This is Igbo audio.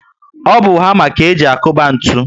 O bu hama ka eji akuba ntụ